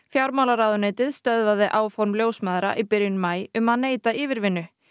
fjármálaráðuneytið stöðvaði áform ljósmæðra í byrjun maí um að neita yfirvinnu